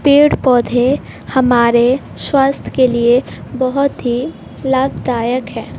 पेड़ पौधे हमारे स्वास्थ्य के लिए बहोत ही लाभदायक है।